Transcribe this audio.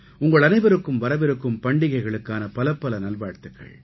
உங்களனைவருக்கும் வரவிருக்கும் பண்டிகைகளுக்கான பலப்பல நல்வாழ்த்துக்கள்